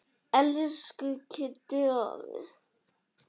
Elsku Kiddi afi.